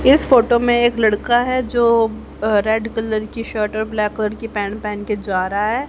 इस फोटो में एक लड़का है जो अह रेड कलर की शर्ट और ब्लैक कलर की पैंट पहन के जा रहा है।